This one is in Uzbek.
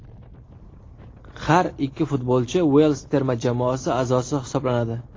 Har ikki futbolchi Uels terma jamoasi a’zosi hisoblanadi.